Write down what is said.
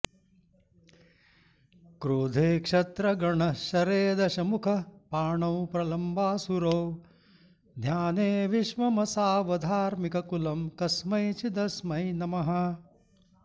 क्रोधे क्षत्रगणः शरेदशमुखः पाणौ प्रलम्बासुरो ध्याने विश्वमसावधार्मिककुलं कस्मैचिदस्मै नमः